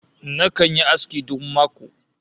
Nakan yi aski duk mako